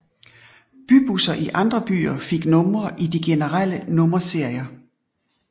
Bybusser i andre byer fik numre i de generelle nummerserier